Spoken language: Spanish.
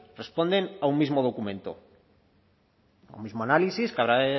responden a un mismo documento el mismo análisis que habrá